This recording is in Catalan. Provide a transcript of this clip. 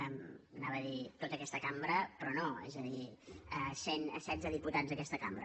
anava a dir tota aquesta cambra però no és a dir cent setze dipu·tats d’aquesta cambra